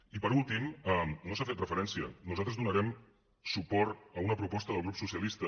i per últim no s’hi ha fet referència nosaltres donarem suport a una proposta del grup socialista